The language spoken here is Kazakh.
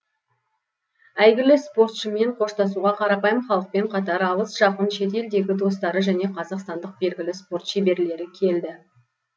әйгілі спортшымен қоштасуға қарапайым халықпен қатар алыс жақын шет елдегі достары және қазақстандық белгілі спорт шеберлері келді